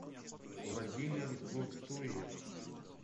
владимир гуртуев